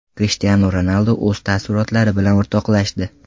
Krishtianu Ronaldu o‘z taassurotlari bilan o‘rtoqlashdi.